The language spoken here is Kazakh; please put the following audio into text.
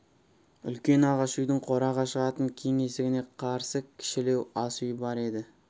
үлкен ағаш үйдің қораға шығатын кең есігіне қарсы кішілеу асүй бар еді